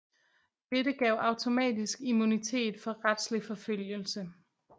Dette gav automatisk immunitet for retslig forfølgelse